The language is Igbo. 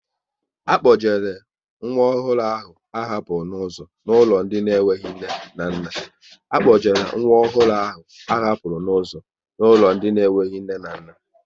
A kpojere nwa ọhụrụ ahụ a hapụrụ n'ụzọ n'ụlọ ndị enweghị nne na nna